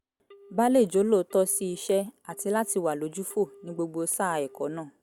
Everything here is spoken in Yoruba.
ba lè jólóòtọ́ sí iṣẹ́ àti láti wà lójúfò ní gbogbo sáà ẹ̀kọ́ náà